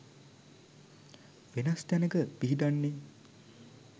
වෙනස් තැනක පිහිටන්නෙ.